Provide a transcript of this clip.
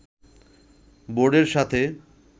বোর্ডের সাথে